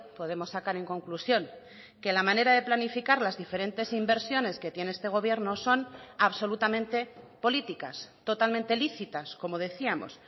podemos sacar en conclusión que la manera de planificar las diferentes inversiones que tiene este gobierno son absolutamente políticas totalmente lícitas como decíamos